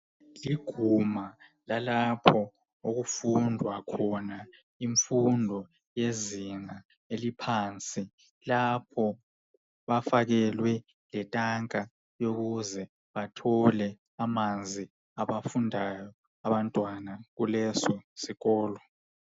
Liguma lalapho okufundwa khona imfundo yezinga eliphansi lapho bafakelwe letanka ukuze bathole amanzi abafundayo abantwana kuleso sikolo.